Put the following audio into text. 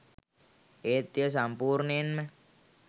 ඒත් එය සම්පූර්ණයෙන්ම